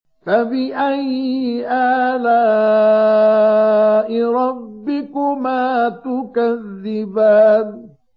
فَبِأَيِّ آلَاءِ رَبِّكُمَا تُكَذِّبَانِ